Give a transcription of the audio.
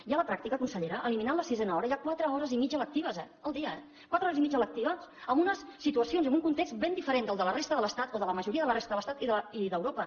i a la pràctica consellera eliminant la sisena hora hi ha quatre hores i mitja lectives al dia eh quatre hores i mitja lectives amb una situació i amb un context ben diferent de la resta de l’estat o de la majoria de la resta de l’estat i d’europa